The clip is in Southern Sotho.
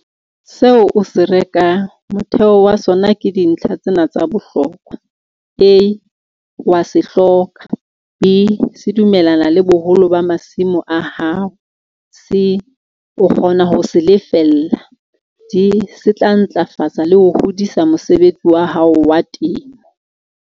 Seo o se rekang, motheho wa sona ke dintlha tsena tsa bohlokwa, A o a se hloka, B se dumellana le boholo ba masimo a hao C o kgona ho se lefella D se tla ntlafatsa le ho hodisa mosebetsi wa hao wa temo.